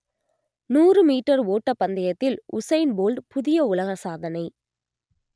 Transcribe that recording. நூறு மீட்டர் ஓட்டப் பந்தயத்தில் உசைன் போல்ட் புதிய உலக சாதனை